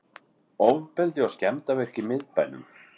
Ofbeldi og skemmdarverk í miðbænum